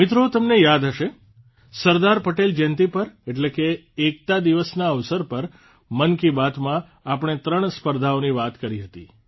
મિત્રો તમને યાદ હશે સરદાર પટેલ જયંતિ પર એટલે કે એકતા દિવસના અવસર પર મન કી બાતમાં આપણે ૩ સ્પર્ધાની વાત કરી હતી